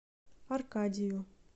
аркадию